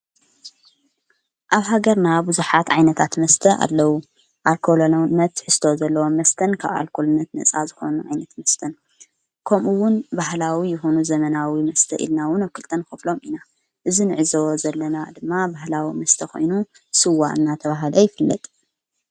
ኣብ ሃገርና ብዙኃት ዓይነታት መስተ ኣለዉ ኣልኮሎዉነት መስተ ዘለዎ መስተን ካብ ኣልኮሎነት ነጻ ዝኾኑ ዓይነት መስተን ከምኡውን ባህላዊ ይሆኑ ዘመናዊ መስተ ኢልናውን ኣብ ክልጠን ኸፍሎም ኢና እዝ ንዕዝዎ ዘለና ድማ ባሕላዊ ምስተ ኾይኑ ሥዋ እናተብሃል ይፍለጥ::